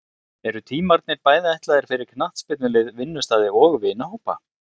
Eru tímarnir bæði ætlaðir fyrir knattspyrnulið, vinnustaði og vinahópa.